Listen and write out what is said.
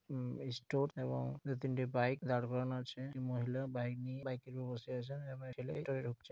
উম এই ষ্টোর এবং দু তিনটে বাইক দাড় করানো আছে এবং একটিই মহিলা বাইক নিয়ে বাইক -এর উপর দিয়ে বসে আছে একটা ছেলে ঢুকছে|